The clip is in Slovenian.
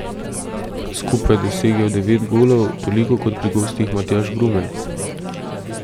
Skupaj je dosegel devet golov, toliko kot pri gostih Matjaž Brumen.